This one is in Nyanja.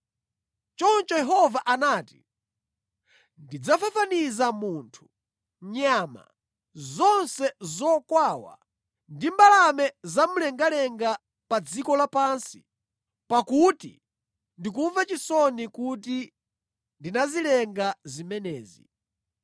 Choncho Yehova anati, “Ndidzafafaniza munthu, nyama, zonse zokwawa, ndi mbalame za mu mlengalenga pa dziko lapansi, pakuti ndikumva chisoni kuti ndinazilenga zimenezi.”